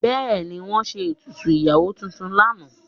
Bẹ́ẹ̀ni, wọ́n ṣe ètùtù ìyàwó tuntun lánàá.